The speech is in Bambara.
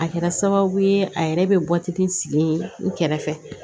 A kɛra sababu ye a yɛrɛ bɛ sigi n kɛrɛfɛ